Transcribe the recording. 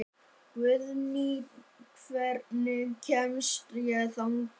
Guðný, hvernig kemst ég þangað?